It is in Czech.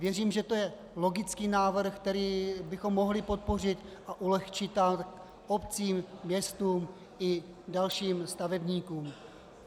Věřím, že to je logický návrh, který bychom mohli podpořit, a ulehčit tak obcím, městům i dalším stavebníkům.